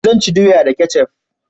Zan ci doya da kecaf